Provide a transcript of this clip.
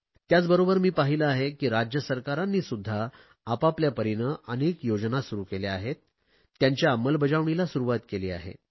त्याचबरोबर मी पाहिले आहे की राज्य सरकारांनीसुध्दा आपापल्या परीने अनेक योजना सुरु केल्या आहेत त्यांच्या अंमलबजावणीला सुरुवात केली आहे